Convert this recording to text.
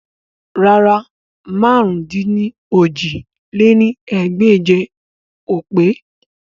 Rárà, màrún-dín-ní-ojì lé ní ẹgbẹ́je o pe